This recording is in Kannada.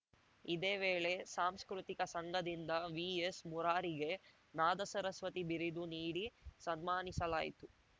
ಇದೇ ವೇಳೆ ಸಾಂಸ್ಕೃತಿಕ ಸಂಘದಿಂದ ವಿಎಸ್‌ ಮುರಾರಿಗೆ ನಾದಸರಸ್ವತಿ ಬಿರುದು ನೀಡಿ ಸನ್ಮಾನಿಸಲಾಯಿತು